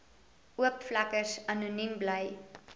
oopvlekkers anoniem bly